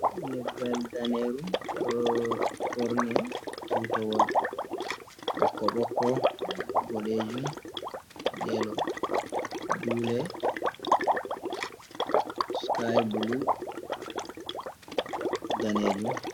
Leggal daneru ɗo ɓorni tutawol ɓokko-ɓokko, boɗejum, yelo, dule, sky bulu, danejum.